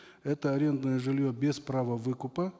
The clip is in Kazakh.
это арендное жилье без права выкупа